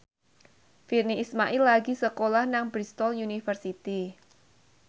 Virnie Ismail lagi sekolah nang Bristol university